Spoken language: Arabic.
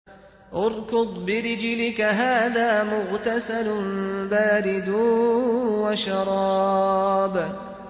ارْكُضْ بِرِجْلِكَ ۖ هَٰذَا مُغْتَسَلٌ بَارِدٌ وَشَرَابٌ